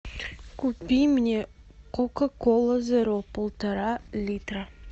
купи мне кока кола зеро полтора литра